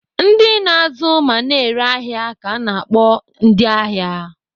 Ndị na-azụ ma na-ere ahịa ka ana akpọ ndịahịa.